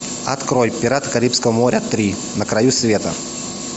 открой пираты карибского моря три на краю света